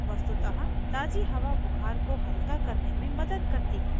वस्तुतः ताज़ी हवा बुखार को हल्का करने में मदद करती है